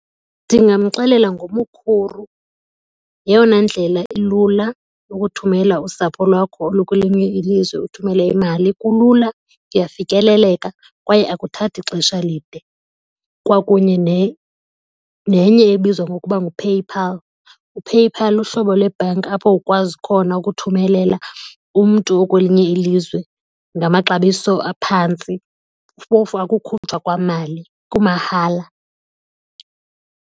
Ndingamxelela ngoMukhuru, yeyona ndlela ilula yokuthumela usapho lwakho olukwelinywe ilizwe uthumele imali. Kulula, kuyafikeleleka kwaye akuthathi xesha lide. Kwakunye nenye ebizwa ngokuba nguPayPal. UPayPal luhlobo lwebhanki apho ukwazi khona ukuthumelela umntu okwelinye ilizwe ngamaxabiso aphantsi. Phofu akukhutshwa kwamali, kumahala.